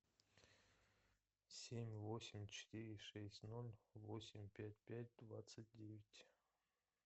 семь восемь четыре шесть ноль восемь пять пять двадцать девять